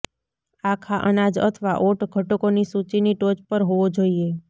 આખા અનાજ અથવા ઓટ ઘટકોની સૂચિની ટોચ પર હોવો જોઈએ